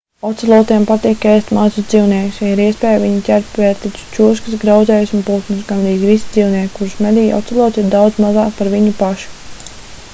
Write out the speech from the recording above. ocelotiem patīk ēst mazus dzīvniekus ja ir iespēja viņi ķer pērtiķus čūskas grauzējus un putnus gandrīz visi dzīvnieki kurus medī ocelots ir daudz mazāki par viņu pašu